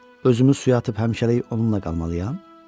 Özümü suya atıb həmişəlik onunla qalmalıyam?